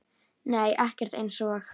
Nei ekkert eins og